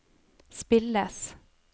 spilles